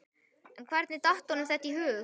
En hvernig datt honum þetta í hug?